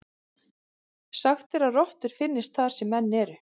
Sagt er að rottur finnist þar sem menn eru.